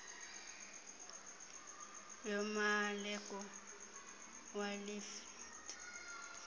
yomaleko welitye lodaka